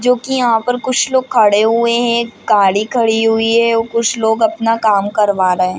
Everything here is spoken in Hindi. जो की यहाँ पर कुछ लोग खड़े हुए हैं गाड़ी खड़ी हुई है और कुछ लोग अपना काम करवा रहे हैं ।